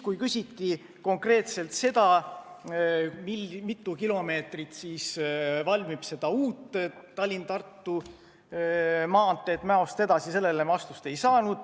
Kui küsiti konkreetselt, mitu kilomeetrit seda uut Tallinna–Tartu maanteed Mäost edasi oleval lõigul valmib, siis vastust ei saadud.